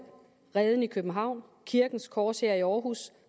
reden i københavn kirkens korshær i aarhus